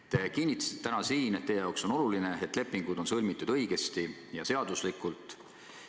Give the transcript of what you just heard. Te kinnitasite täna siin, et teie jaoks on oluline, et lepingud oleksid sõlmitud õigesti ja seaduslikult.